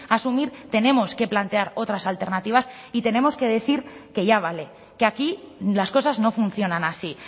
asumir tenemos que plantear otras alternativas y tenemos que decir que ya vale que aquí las cosas no funcionan así